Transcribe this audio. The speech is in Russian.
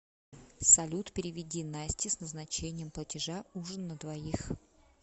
салют переведи насте с назначением платежа ужин на двоих